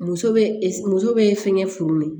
Muso bɛ e muso bɛ fɛnkɛ furu min